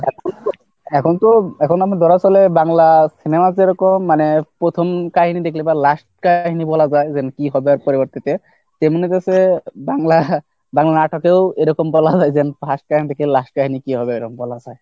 এখন তো এখন আমি ধরা চলে বাংলা সিনেমা যেরকম মানে প্রথম কাহিনী দেখলে last কাহিনী বলা যায় যে কি হবে পরবর্তীতে, তেমনি হচ্ছে বাংলা বাংলা নাটকেও এরকম বলা হয় যে first time থেকে last time এ কি হবে এরকম বলা যায়।